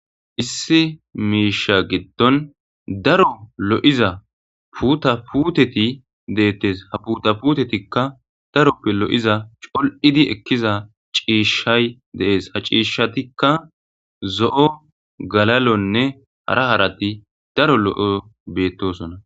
Issi miisha giddon daro lo'iza puta puteti deettes haputaputetikka daroppe lo'iza col'idi ekkiza ciishshay deees haciishshatikka zo'o galalonne hara harati daro lo'o beettosona.